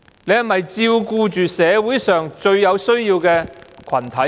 是否照顧着社會上最有需要的群體？